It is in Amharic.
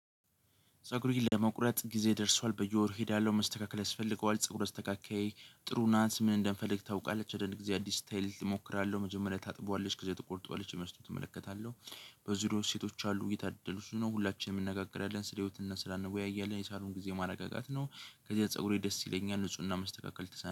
ፀጉሩን ለመቁረጥ ጊዜ ደርሷል በየወሩ እሄዳለሁ መስተካከል ያስፈልገዋል። ፀጉሩ አስተካካይ ጥሩ ናንስ ምን እንደምፈልግ ታውቃለች? ወደ እግዚአብሔር አዲስ ስታይል እሞክራለሁ። መጀመሪያ ታጥቧለች ጊዜ ትቆርጧለች የመስጠት እመለከተዎለው። በዙሪያው ሴቶች አሉ የታደሉ እሱ ነው። ሁላችንም እንነጋገራለን ስለ ህይወትና ስላንወያየን የሳሩን ጊዜ ማረጋጋት ነው። ከዚህ ፀጉሬ ደስ ይለኛል። ንፁህና መስተካከል ተሰናበት